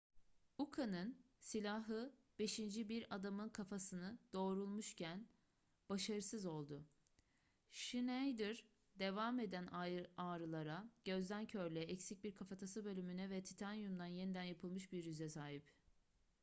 uka'nın silahı beşinci bir adamın kafasını doğrulmuşken başarısız oldu schneider devam eden ağrılara gözde körlüğe eksik bir kafatası bölümüne ve titanyumdan yeniden yapılmış bir yüze sahip